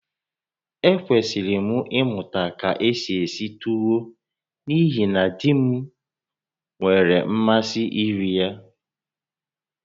Ekwesịrị m ịmụta ka esi esi tuwo n'ihi na di m nwere mmasị iri ya